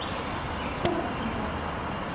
kwaggafontein